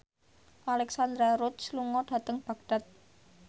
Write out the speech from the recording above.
Alexandra Roach lunga dhateng Baghdad